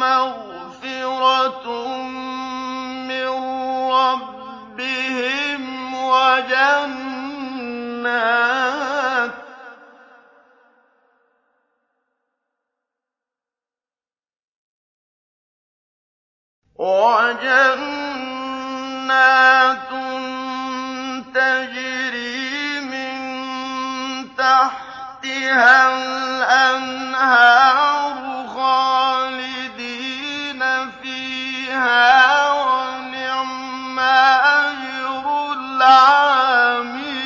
مَّغْفِرَةٌ مِّن رَّبِّهِمْ وَجَنَّاتٌ تَجْرِي مِن تَحْتِهَا الْأَنْهَارُ خَالِدِينَ فِيهَا ۚ وَنِعْمَ أَجْرُ الْعَامِلِينَ